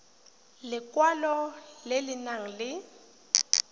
lekwalo le le nang le